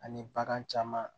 Ani bagan caman